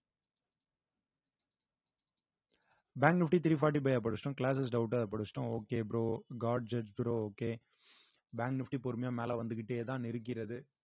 fifty three forty ஆ படிச்சிட்டோம் classes doubt ஆ படிச்சிட்டோம் okay bro god judge bro okay bank nifty பொறுமையா மேல வந்துகிட்டேதான் இருக்கிறது